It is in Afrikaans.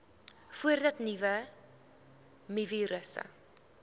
voordat nuwe mivirusse